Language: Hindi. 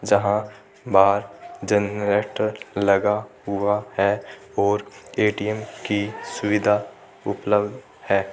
जहा बाहर जनरेटर लगा हुआ है और ए_टी_एम की सुविधा उपलब्ध है।